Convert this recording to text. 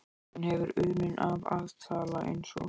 Hún hefur unun af að tala eins og